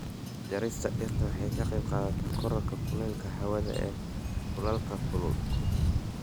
Jarista dhirta waxay ka qaybqaadataa kororka kuleylka hawada ee dhulalka kulul.